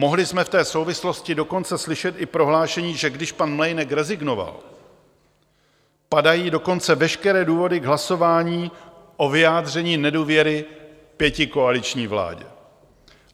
Mohli jsme v té souvislosti dokonce slyšet i prohlášení, že když pan Mlejnek rezignoval, padají dokonce veškeré důvody k hlasování o vyjádření nedůvěry pětikoaliční vládě.